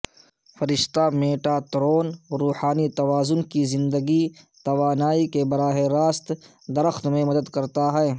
فرشتہ میٹاترون روحانی توازن کی زندگی توانائی کے براہ راست درخت میں مدد کرتا ہے